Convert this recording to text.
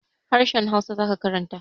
Harahen hausa zaka karanta